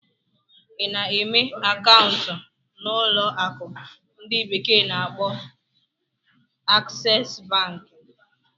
Ị na-emepe akaụntụ na ụlọ akụ ndi bekee na-akpo Aksesu Banki?